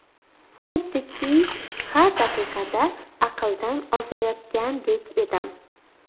Xuddiki, har daqiqada aqldan ozayotgandek edim.